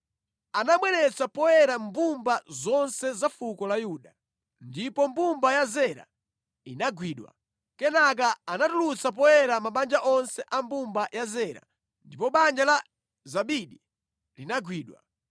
Anabweretsa poyera mbumba zonse za fuko la Yuda, ndipo mbumba ya Zera inagwidwa. Kenaka anatulutsa poyera mabanja onse a mbumba ya Zera ndipo banja la Zabidi linagwidwa.